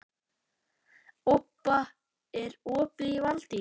Obba, er opið í Valdís?